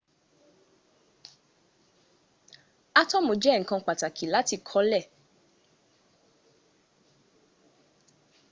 átọ́mù jẹ ǹkan tó ṣe pàtàkì láti kọ lé